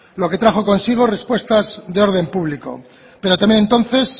lo que trajo consigo respuestas de orden público pero también entonces